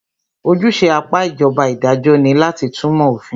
Ojúṣe apá ìjọba idajọ́ ní láti túnmọ̀ òfin.